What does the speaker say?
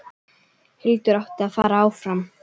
Hildur átti að fara áfram!